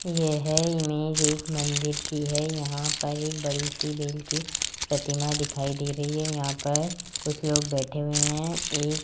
यह इमेज एक मंदिर की है यहां पर एक बड़ी सी बेल की प्रतिमा दिखाई दे रही है यहां पर कुछ लोग बैठे हुए हैं ये --